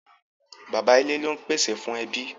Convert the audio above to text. Bàbá ilé lón pèsè fún ẹbí.